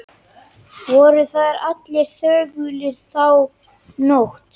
Voru þar allir þögulir þá nótt.